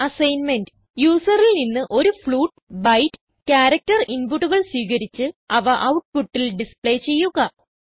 assignment യൂസറിൽ നിന്ന് ഒരു ഫ്ലോട്ട് ബൈറ്റ് ക്യാരക്ടർ inputകൾ സ്വീകരിച്ച് അവ ഔട്ട്പുട്ടിൽ ഡിസ്പ്ളെ ചെയ്യുക